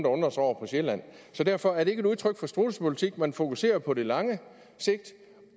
undrer sig over på sjælland så derfor er det ikke et udtryk for strudsepolitik man fokuserer jo på det lange sigt